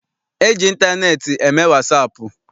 E ji ịntaneetị eme wasaapụ.